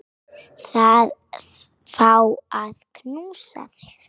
Að fá að knúsa þig.